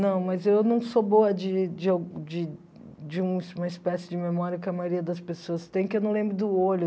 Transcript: Não, mas eu não sou boa de de de de um uma espécie de memória que a maioria das pessoas tem, que eu não lembro do olho.